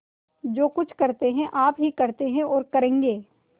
जो कुछ करते हैं आप ही करते हैं और करेंगे